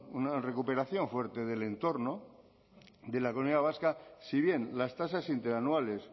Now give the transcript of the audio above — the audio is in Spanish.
una recuperación fuerte del entorno de la comunidad vasca si bien las tasas interanuales